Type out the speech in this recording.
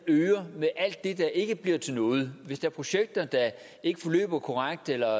øger med alt det der ikke bliver til noget hvis der er projekter der ikke forløber korrekt eller